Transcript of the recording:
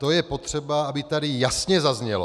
To je potřeba, aby tady jasně zaznělo.